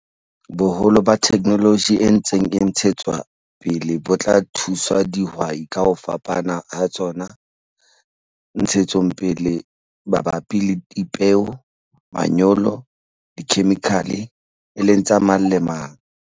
Boholo ba theknoloji e ntseng e ntshetswa pele bo tla thusa dihwai ka ho fapana ha tsona - ntshetsopele mabapi le dipeo, manyolo le dikhemikhale, e leng tsa mang le mang.